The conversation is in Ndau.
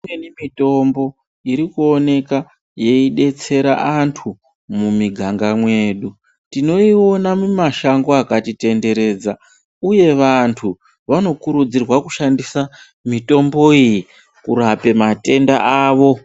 Imweni mitombo irikuoneka yeidetsera antu mumiganga mwedu tinoiona mumashango akatitenderedza. Uye vantu vanokurudzirwa kushandisa mitombo iyi kurape matenda avo.